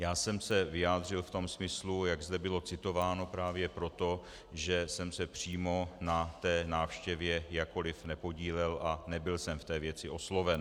Já jsem se vyjádřil v tom smyslu, jak zde bylo citováno, právě proto, že jsem se přímo na té návštěvě jakkoliv nepodílel a nebyl jsem v té věci osloven.